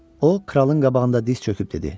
O kralın qabağında diz çöküb dedi: